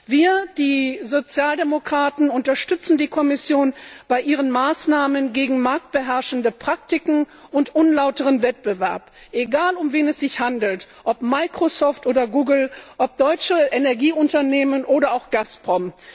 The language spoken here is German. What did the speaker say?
Wir, die Sozialdemokraten, unterstützen die Kommission bei ihren Maßnahmen gegen marktbeherrschende Praktiken und unlauteren Wettbewerb, egal, um wen es sich handelt, ob Microsoft oder Google, ob deutsche Energieunternehmen oder auch Gazprom.